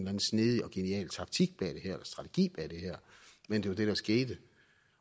anden snedig og genial taktik eller strategi bag det her men det var det der skete